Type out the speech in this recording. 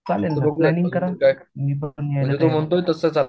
चालेल तुम्ही प्लॅनिंग करा मी पण यायला तयार आहे